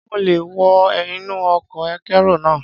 Ṣé mo lè wọ inú ọkọ̀ akérò náà?